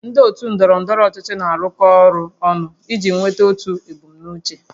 Ndị otu ndọrọ ndọrọ ọchịchị na-arụkọ ọrụ ọnụ iji nweta otu ebumnuche